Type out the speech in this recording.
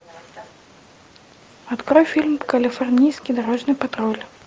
открой фильм калифорнийский дорожный патруль